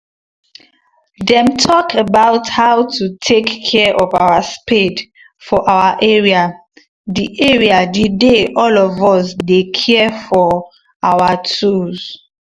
them talk about how to take care of our spade for our area the area the day all of us dey care for our tools